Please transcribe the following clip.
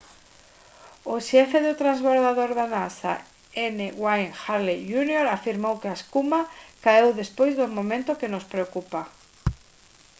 o xefe do programa do transbordador da nasa n wayne hale jr afirmou que a espuma caeu despois do momento que nos preocupa